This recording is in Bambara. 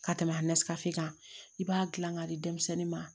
Ka tɛmɛ kan i b'a gilan k'a di denmisɛnnin ma